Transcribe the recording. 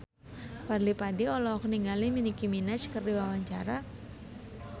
Fadly Padi olohok ningali Nicky Minaj keur diwawancara